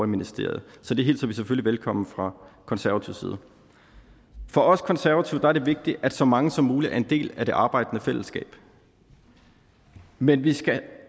ministeriet så det hilser vi selvfølgelig velkommen fra konservatives side for os konservative er det vigtigt at så mange som muligt er en del af det arbejdende fællesskab men vi skal